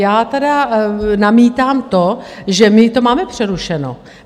Já tedy namítám to, že my to máme přerušeno.